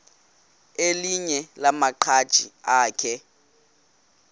elinye lamaqhaji akhe